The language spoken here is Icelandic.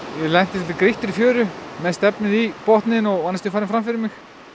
ég lenti í grýttri fjöru með stefnið í botninn og var næstum farin fram fyrir mig